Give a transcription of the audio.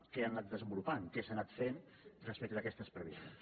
què ha anat desenvolupant què s’ha anat fent respecte d’aquestes previsions